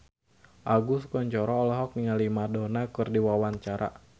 Agus Kuncoro olohok ningali Madonna keur diwawancara